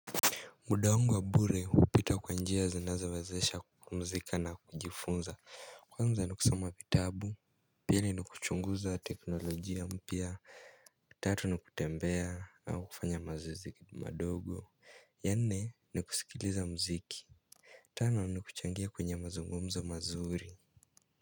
Muda wangu wa bure hupita kwa njia zinazowezesha kupumzika na kujifunza, kwanza ni kusoma vitabu. Pili ni kuchunguza teknolojia mpya. Tatu ni kutembea au kufanya mazoezi madogo. Ya nne ni kusikiliza mziki. Tano ni kuchangia kwenye mazungumzo mazuri.